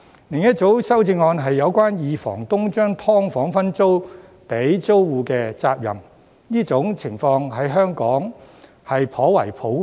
另一組修正案是有關二房東把"劏房"分租給租戶時的責任，這種情況在香港頗為普遍。